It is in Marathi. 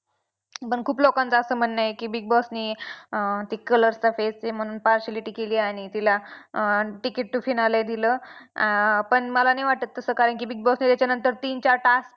पण खूप लोकांचं असं म्हणणं आहे की Big Boss ने अं ती color चा face आहे म्हणून partiality केली आणि तिला अं ticket to finale दिलं. अं पण मला नाही वाटत तसं कारण की Big Boss व्हायच्या नंतर तीन चार task